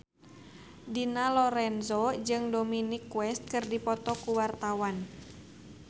Dina Lorenza jeung Dominic West keur dipoto ku wartawan